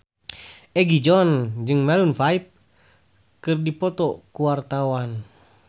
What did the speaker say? Egi John jeung Maroon 5 keur dipoto ku wartawan